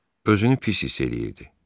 Özünü pis hiss eləyirdi.